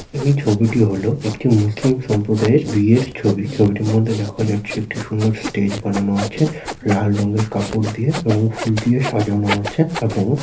এই ছবিটি হল একটি মুসলিম সম্প্রদায়ের বিয়ের ছবি। ছবিটির মধ্যে দেখা যাচ্ছে একটি সুন্দর স্টেজ বানানো আছে। লাল রঙের কাপড় দিয়ে এবং ফুল দিয়ে সাজানো আছে এবং--